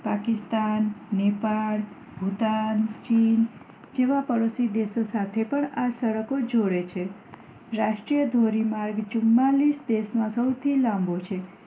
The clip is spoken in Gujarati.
પાકિસ્તાન નેપાળ ભૂતાન ચીન જેવા પડોશી દેશો સાથે એ પણ આ સડકો જોડે છે રાષ્ટ્રીય ધોરી માર્ગ ચુમ્માલીસ દેશ માં સૌથી લાંબો છે